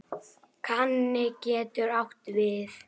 Kaninn getur átt við